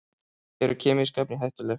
Eru kemísk efni hættuleg?